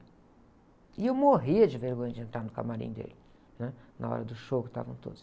E eu morria de vergonha de entrar no camarim dele, né Na hora do show que estavam todos.